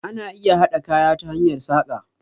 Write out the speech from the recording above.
Ana iya haɗa kaya ta hanyar saƙa